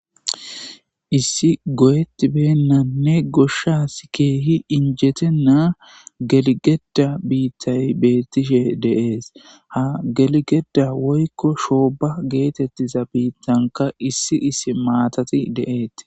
Issi goyetibbennane goyanis kehi injetenna geligedda bittayi betishe deyesi. Ha geliggedda woyikko shobba betanikka issi issi mtatti de'esi.